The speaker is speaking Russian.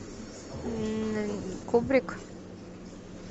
кубрик